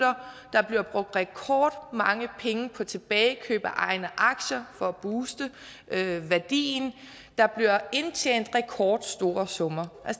der bliver brugt rekordmange penge på tilbagekøb af egne aktier for at booste værdien der bliver indtjent rekordstore summer